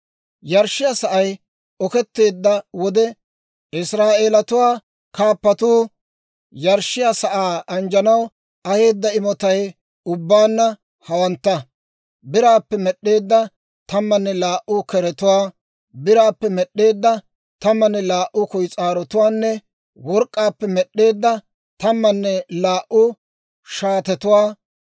Yarshshiyaa sa'ay oketteedda wode, Israa'eelatuwaa kaappatuu yarshshiyaa sa'aa anjjanaw aheedda imotay ubbaanna hawantta: Biraappe med'd'eedda tammanne laa"u keretuwaa, biraappe med'd'eedda tammanne laa"u kuyis'aarotuwaanne work'k'aappe med'd'eedda tammanne laa"u shaatetuwaa;